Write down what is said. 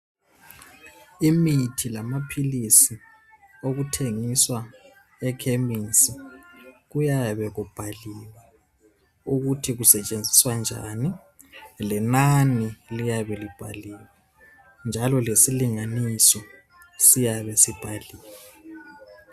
Imithi lamaphilisi okuthengiswa ekhemesi kuyabe kubhaliwe ukuthi kusetshenziswa njani lenani liyabe libhaliwe njalo lesilinganiso siyabe sibhaliwe.